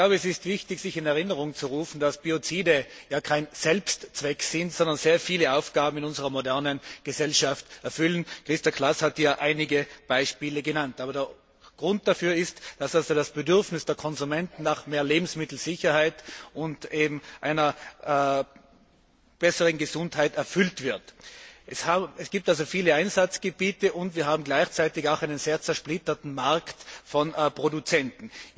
Es ist wichtig, sich in Erinnerung zu rufen, dass Biozide kein Selbstzweck sind, sondern sehr viele Aufgaben in unserer modernen Gesellschaft erfüllen. Christa Klaß hat hier einige Beispiele genannt. Der Grund dafür ist, dass das Bedürfnis der Konsumenten nach mehr Lebensmittelsicherheit und einer besseren Gesundheit erfüllt wird. Es gibt also viele Einsatzgebiete, und wir haben gleichzeitig auch einen sehr zersplitterten Markt von Produzenten.